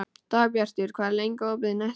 Dagbjartur, hvað er lengi opið í Nettó?